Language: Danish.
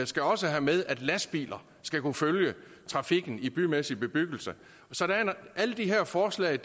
skal også have med at lastbiler skal kunne følge trafikken i bymæssig bebyggelse så de her forslag